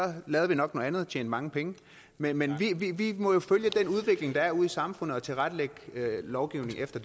lavede vi nok noget andet og tjente mange penge men men vi må jo følge den udvikling der er ude i samfundet og tilrettelægge lovgivningen efter